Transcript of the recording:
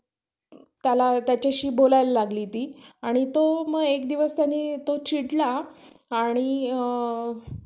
तं मी माझंच करलं म्हणलं. bank मधून loan काढलं, आणि मग नंतर जॉ~ अं नोकरी वगैरे लागली कि मग होईल हळूहळू. फेडता येईल ना.